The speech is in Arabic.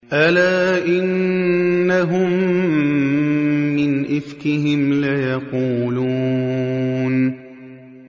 أَلَا إِنَّهُم مِّنْ إِفْكِهِمْ لَيَقُولُونَ